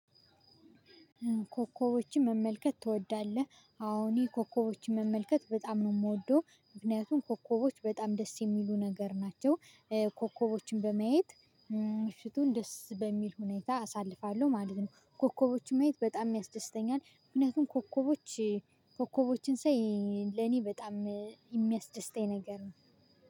ኮከቦችን መመልከት ትወዳለህ? አዎ እኔ ኮከቦችን መመልከት በጣም ነው የምወደው ምክንያቱም ኮከቦች በጣም ደስ የሚሉ ነገር ናቸው። ኮከቦችን በማየት ምሽቱን ደስ በሚል ሁኔታ አሳልፋለሁ ማለት ነው። ኮከቦችን ማየት በጣም ያስደስተኛል። ምክንያቱም ኮከቦች ኮከቦችን ሳይ ለኔ በጣም የሚያስደስተኝ ነገር ነው